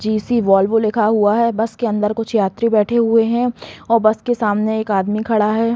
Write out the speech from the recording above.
AGC वल्ब लिखा हुआ है बस के अंदर कुछ यात्री बैठे हुए है और बस के सामने एक आदमी खड़ा है।